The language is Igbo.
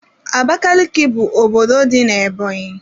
Abakaliki bụ obodo dị n'Ebonyi.